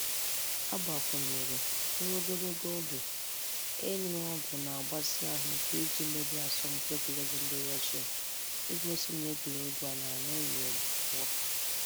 Ọ gbakwụnyere, 'Ruo ogologo oge, ịnụ ọ́gwụ̀ na-agbasi ahụ íké i ji merie n'asọmpi egwuregwu ndị Russia esigo n' egwuregwu a na-aṅụghị ọ́gwụ̀ pụọ..